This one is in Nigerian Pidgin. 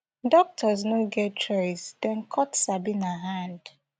doctors no get choice dem cut sabina hand